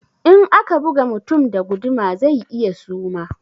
In aka buga mutum da guduma zai iya suma